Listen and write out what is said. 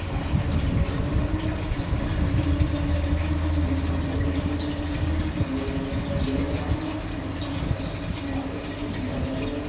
आसमान दिखाई दे रहा है यहाँ पे खंबे लगे हुएखंभे में बहुत सारी डोरिया लगी हुई है रोड दिखाई दे रहा है और बहोत सा कुछ छोटे पेड़ है कुछ बड़े पेड़ है।